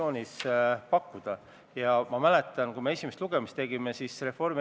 Neid probleeme, millega ei saa Riigikogu saalis leppida, on sisuliselt kolm.